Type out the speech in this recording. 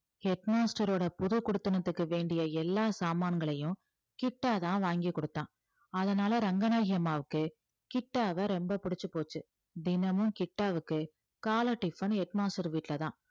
head master ஓட புதுக்குடித்தனத்துக்கு வேண்டிய எல்லா சாமான்களையும் கிட்டாதான் வாங்கி கொடுத்தான் அதனால ரங்கநாயகி அம்மாவுக்கு கிட்டாவை ரொம்ப பிடிச்சு போச்சு தினமும் கிட்டாவுக்கு காலை tiffinhead master வீட்டுலதான்